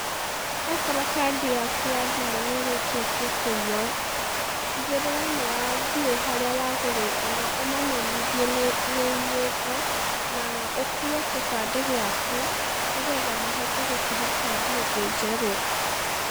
Okorwo kandi yaku ya thimũ nĩrĩkĩtie kũiywo, tigĩrĩra nĩwathiĩ harĩa wagũrĩte na ũmamenyithie nĩ nĩiyĩtwo, na, ũkue gĩbandĩ gĩaku, nĩgetha mahote gũkũhe kandi ĩngĩ njerũ.